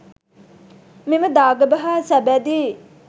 මෙම දාගැබ හා සබැඳි